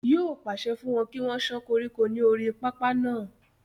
yóò pàṣẹ fún wọn kí wọ́n sán koríko ní orí pápá náà